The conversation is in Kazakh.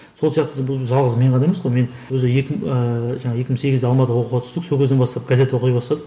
сол сияқты бұл жалғыз мен ғана емес қой мен өзі екі ііі жаңағы екі мың сегізде алматыға оқуға түстік сол кезден бастап газет оқи бастадық